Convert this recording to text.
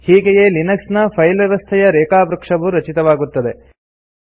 ಹೀಗೆಯೇ ಲಿನೆಕ್ಸ್ ನ ಫೈಲ್ ವ್ಯವಸ್ಥೆಯ ರೇಖಾವೃಕ್ಷವು ರಚಿತವಾಗುತ್ತದೆ